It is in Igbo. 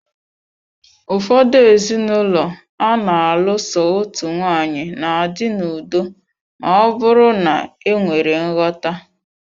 Ụfọdụ ezinụlọ ana alụ so otu nwaanyị, na-adị n'udo ma ọ bụrụ na enwere nghọta.